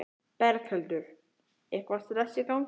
Berghildur: Eitthvað stress í gangi?